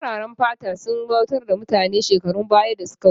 Fararen fata sun bautar da mutane a shekarun baya da suka wuce